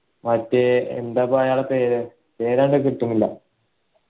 മറ്റേ എന്തിപ്പൂ അയാളെ പേര് പേര് അങ്ങട് കിട്ടണില്ല